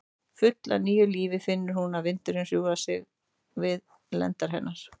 Full af nýju lífi finnur hún að vindurinn hjúfrar sig við lendar hennar.